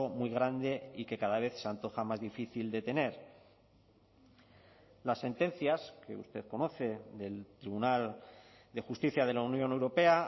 muy grande y que cada vez se antoja más difícil detener las sentencias que usted conoce del tribunal de justicia de la unión europea